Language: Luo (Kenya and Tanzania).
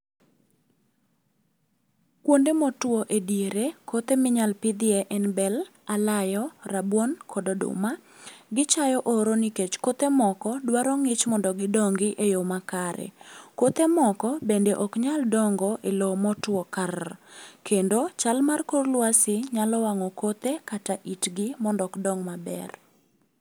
Kuonde motuo e diere kothe minyalo pidhie en bel ,alayo ,rabuon kod oduma . Gichayo oro nikech kothe moko dwaro ng'ich mondo gidongi e yo makare. Kothe moko bende ok nyal dongo e lowo motwo karr kendo chal mar kor lwasi nyalo wang'o kothe kata itgi mondo ok dong maber.